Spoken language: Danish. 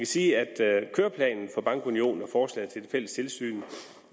sige at køreplanen for bankunionen og forslaget til et fælles tilsyn